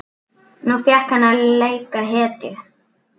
Nú fékk hann að leika hetju.